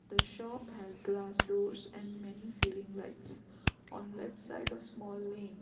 The shop has glass doors and many ceiling lights on left side of small lane.